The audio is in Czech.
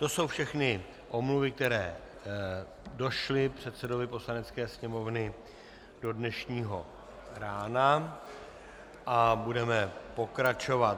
To jsou všechny omluvy, které došly předsedovi Poslanecké sněmovny do dnešního rána, a budeme pokračovat.